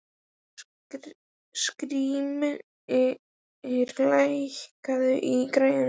Skrýmir, lækkaðu í græjunum.